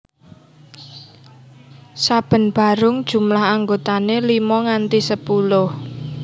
Saben barung jumlah anggotane limo nganti sepuluh